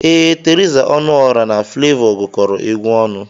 Ee, Theresa Ọnụọra na Flevọ gụkọrọ egwu ọnụ.